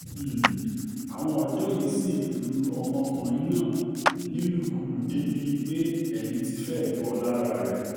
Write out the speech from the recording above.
um àwọn ọ̀dọ́ yìí sì lu ọmọkùnrin náà nílùkulù débìí pé èmi ti fẹ́ẹ́ bọ́ um lákàrá rẹ̀